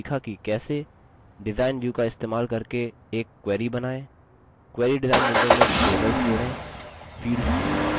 design view का इस्तेमाल करके एक query बनाएँ